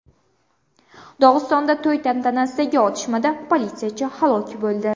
Dog‘istonda to‘y tantanasidagi otishmada politsiyachi halok bo‘ldi.